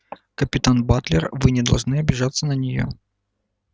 капитан батлер вы не должны обижаться на неё